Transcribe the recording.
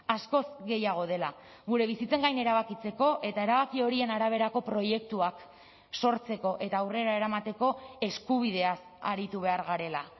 askoz gehiago dela gure bizitzen gain erabakitzeko eta erabaki horien araberako proiektuak sortzeko eta aurrera eramateko eskubideaz aritu behar garela